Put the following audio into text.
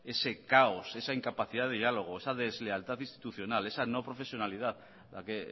ese caos esa incapacidad de diálogo esa deslealtad institucional esa no profesionalidad de la que